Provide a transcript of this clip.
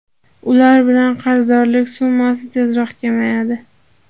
Ular bilan qarzdorlik summasi tezroq kamayadi.